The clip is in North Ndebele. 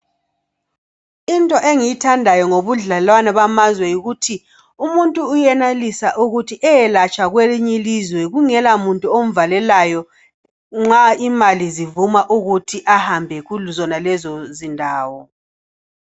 Into engiyithandayo ngobudlelwano bamazwe yikuthi, umuntu uyenelisa ukuthi eyeyelatshwa kwelinye ilizwe kungela muntu omvalelalo, nxa imali zivuma ukuthi ahambe kuzonalezo zindawo.